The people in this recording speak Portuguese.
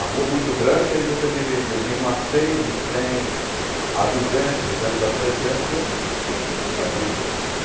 A rua muito grande, aí você dividia de um a cem, de cem a duzentos, de duzentos a trezentos, e assim sucessivamente.